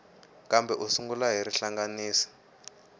kambe u sungula hi rihlanganisi